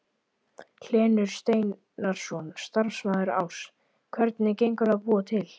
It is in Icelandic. Hlynur Steinarsson, starfsmaður Áss: Hvernig gengur að búa til?